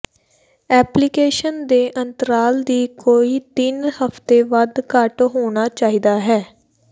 application ਦੇ ਅੰਤਰਾਲ ਦੀ ਕੋਈ ਤਿੰਨ ਹਫ਼ਤੇ ਵੱਧ ਘੱਟ ਹੋਣਾ ਚਾਹੀਦਾ ਹੈ